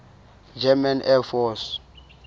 german air force